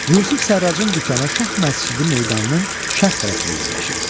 Yusif Sərracın dükanı Şah Məscidi meydanının şərq tərəfində yerləşirdi.